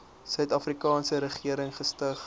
suidafrikaanse regering gestig